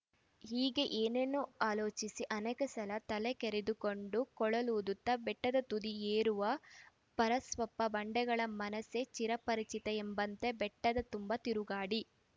ಹೀಗೆ ಏನೇನೊ ಆಲೋಚಿಸಿ ಅನೇಕ ಸಲ ತಲೆ ಕೆರೆದು ಕೊಂಡು ಕೊಳಲೂದುತ ಬೆಟ್ಟದ ತುದಿ ಏರುವ ಪರಸಪ್ಪ ಬಂಡೆಗಳ ಮನಸೆ ಚಿರಪರಿಚಿತ ಎಂಬಂತೆ ಬೆಟ್ಟದ ತುಂಬಾ ತಿರುಗಾಡಿ